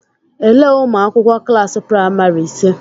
Elee ụmụakwụkwọ klaasị praịmari ise?